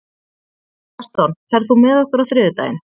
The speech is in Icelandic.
Gaston, ferð þú með okkur á þriðjudaginn?